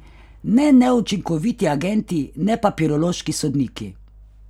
Ne neučinkoviti agenti, ne papirološki sodniki.